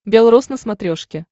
белрос на смотрешке